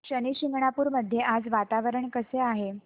शनी शिंगणापूर मध्ये आज वातावरण कसे आहे